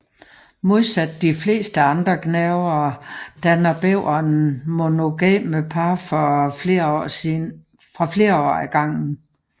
Modsat de fleste andre gnavere danner bæveren monogame par for flere år ad gangen